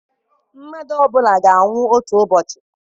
Mmadụ ọ bụla ga-anwụ otu ụbọchị.